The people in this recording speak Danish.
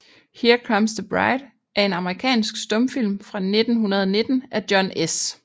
Here Comes the Bride er en amerikansk stumfilm fra 1919 af John S